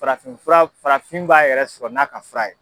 Farafinfura farafin b'a yɛrɛ sɔrɔ n'a ka fura ye.